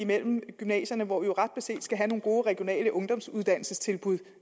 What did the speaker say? mellem gymnasierne hvor vi ret beset skal have nogle gode regionale ungdomsuddannelsestilbud